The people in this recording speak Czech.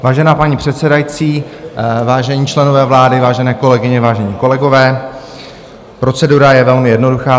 Vážená paní předsedající, vážení členové vlády, vážené kolegyně, vážení kolegové, procedura je velmi jednoduchá.